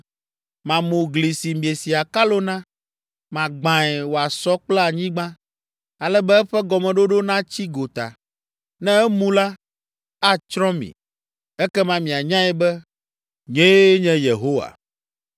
Mamu gli si miesi akalo na, magbãe wòasɔ kple anyigba, ale be eƒe gɔmeɖoɖo natsi gota. Ne emu la, atsrɔ̃ mi, ekema mianyae be, nyee nye Yehowa.